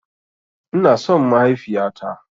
Ina son mahaifiya ta.